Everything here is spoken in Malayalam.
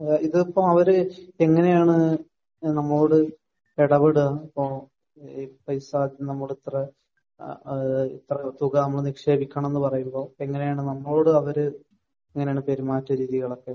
ഏഹ് ഇത് ഇപ്പോൾ അവർ എങ്ങനെയാണ് നമ്മളോട് ഇടപെടുക? ഏഹ് ഈ പൈസ നമ്മൾ ഇത്ര ഏഹ് ഇത്ര തുക നിക്ഷേപിക്കണമെന്ന് പറയുമ്പോൾ എങ്ങനെയാണ് നമ്മളോട് അവർ എങ്ങനെയാണ് പെരുമാറ്റ രീതികളൊക്കെ?